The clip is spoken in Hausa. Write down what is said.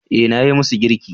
Eh, nayi musu girki